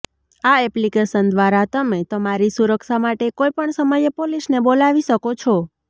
આ એપ્લિકેશન દ્વારા તમે તમારી સુરક્ષા માટે કોઈપણ સમયે પોલીસને બોલાવી શકો છો